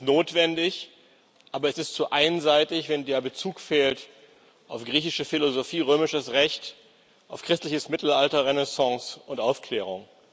Das ist notwendig, aber es ist zu einseitig, wenn der Bezug fehlt auf griechische Philosophie, römisches Recht, auf christliches Mittelalter, Renaissance und Aufklärung.